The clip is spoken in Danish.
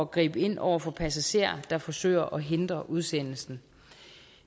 gribe ind over for passagerer der forsøger at hindre udsendelsen